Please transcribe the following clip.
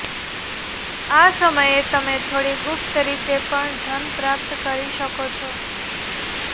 આ સમયે તમે થોડી ગુપ્ત રીતે પણ ધન પ્રાપ્ત કરી શકો છો